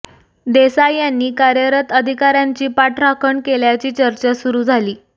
देसाई यांनी कार्यरत अधिकाऱ्यांची पाठराखण केल्याची चर्चा सुरू झाली